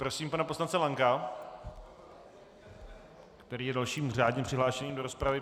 Prosím pana poslance Lanka, který je dalším řádně přihlášeným do rozpravy.